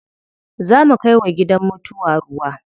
Za mu kai wa gidan mutuwa ruwa.